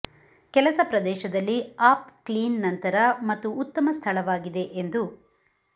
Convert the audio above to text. ಕೆಲಸ ಪ್ರದೇಶದಲ್ಲಿ up clean ನಂತರ ಮತ್ತು ಉತ್ತಮ ಸ್ಥಳವಾಗಿದೆ ಎಂದು